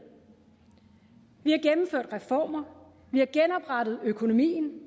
vi har gennemført reformer vi har genoprettet økonomien